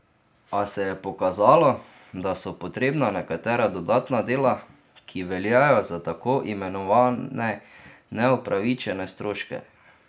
A se je pokazalo, da so potrebna nekatera dodatna dela, ki veljajo za tako imenovane neupravičene stroške.